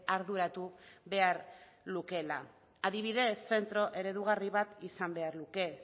arduratu behar lukeela adibidez zentro eredugarri bat izan behar luke